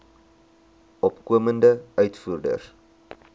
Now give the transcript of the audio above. opkomende uitvoerders